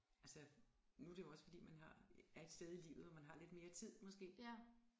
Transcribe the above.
Altså nu det jo også fordi man har er et sted i livet hvor man har lidt mere tid måske